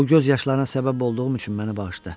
Bu göz yaşlarına səbəb olduğum üçün məni bağışla.